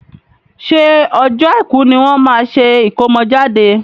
ṣé ọjọ́ Àìkú ní wọ́n máa ṣe ìkómọjáde?